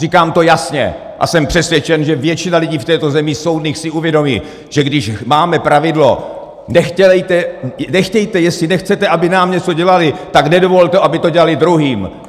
Říkám to jasně a jsem přesvědčen, že většina lidí v této zemi, soudných, si uvědomí, že když máme pravidlo - nechtějte, jestli nechcete, aby nám něco dělali, tak nedovolte, aby to dělali druhým!